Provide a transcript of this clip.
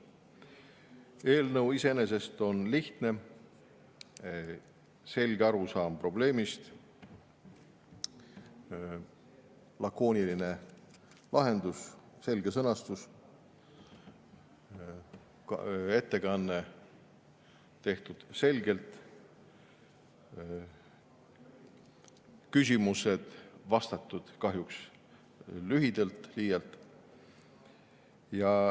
Eelnõu iseenesest on lihtne, selge arusaam probleemist, lakooniline lahendus, selge sõnastus, ettekanne tehtud selgelt, küsimused vastatud – kahjuks liialt lühidalt.